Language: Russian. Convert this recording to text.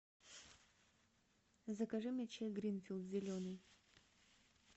закажи мне чай гринфилд зеленый